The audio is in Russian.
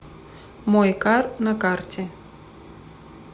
мойкар на карте